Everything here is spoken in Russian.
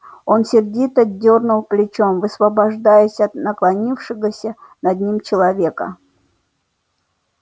он сердито дёрнул плечом высвобождаясь от наклонившегося над ним человека